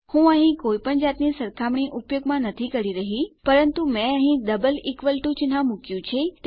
હું અહીં કોઈપણ જાતની સરખામણી ઉપયોગમાં નથી કરી રહ્યો પરંતુ મેં અહીં ડબલ ઇકવલ્સ ટૂ ચિન્હ મુક્યું છે